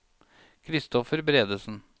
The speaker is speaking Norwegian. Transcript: Christopher Bredesen